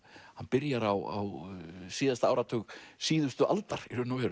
hann byrjar á síðasta áratug síðustu aldar